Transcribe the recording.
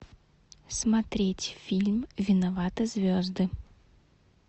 смотреть фильм виноваты звезды